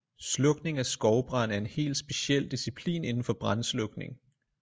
Slukning af skovbrand er en helt speciel disciplin indenfor brandslukning